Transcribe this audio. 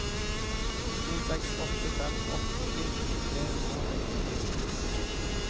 to seks åtte fem åtti tre hundre og sekstifire